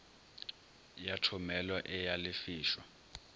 ya thomelo e a lefišwa